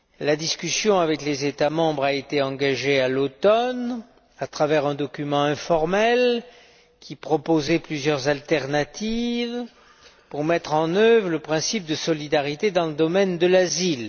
La discussion avec les États membres a été engagée à l'automne, à travers un document informel qui proposait plusieurs alternatives pour mettre en œuvre le principe de solidarité dans le domaine de l'asile.